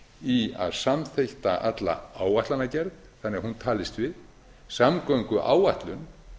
í að samþætta alla áætlanagerð þannig að hún talist við samgönguáætlun